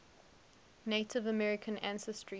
native american ancestry